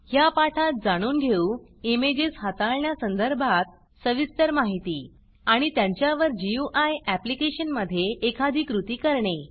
ह्या पाठात जाणून घेऊ इमेजेस हाताळण्या संदर्भात सविस्तर माहिती आणि त्यांच्यावर गुई ऍप्लिकेशनमधे एखादी कृती करणे